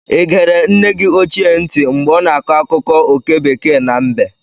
Ị egere nne gị ochie ntị mgbe ọ na-akọ akụkọ oke bekee na mbe?